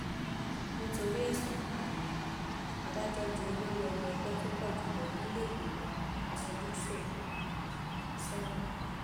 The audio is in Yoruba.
nítorí ẹsùn ìpànìyàn adájọ ju olórí ọmọ ẹgbẹ tó pọ jù lọ nílẹẹgbìmọ asojúṣòfin sẹwọn